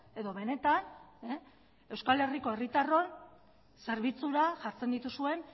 edo benetan euskal herriko herritarron zerbitzura jartzen dituzue